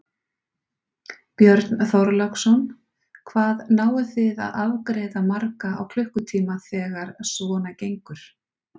Björn Þorláksson: Hvað náið þið að afgreiða marga á klukkutíma þegar svona gengur?